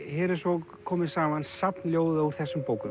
hér er svo komið saman safn ljóða úr þessum bókum